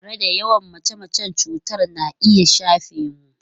Tare da yawan mace-mace, cutar na iya shafe mu.